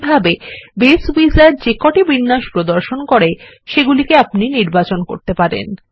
এই ভাবে base wizard যেকটিবিন্যাস প্রদান করে সেগুলিকে আপনি নির্বাচন করতে পারেন